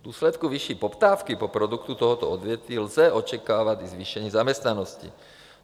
V důsledku vyšší poptávky po produktu tohoto odvětví lze očekávat i zvýšení zaměstnanosti.